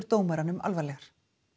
dómaranum alvarlegar